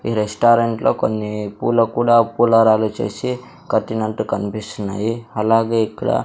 ఈ రెస్టారెంట్లో కొన్ని పూల కూడా పూలరాలు చేసే కట్టినట్టు కన్పిస్తున్నాయి అలాగే ఇక్కడ--